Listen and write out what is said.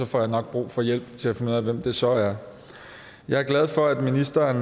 får jeg nok brug for hjælp til at finde ud af hvem det så er jeg er glad for at ministeren